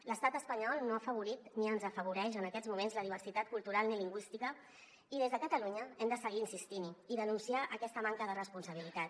l’estat espanyol no ha afavorit ni afavoreix en aquests moments la diversi·tat cultural ni lingüística i des de catalunya hem de seguir insistint·hi i denunciar aquesta manca de responsabilitat